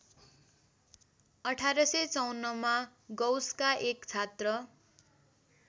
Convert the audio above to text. १८५४ मा गौसका एक छात्र